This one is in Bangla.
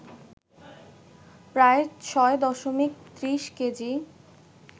প্রায় ৬ দশমিক ৩০ কেজি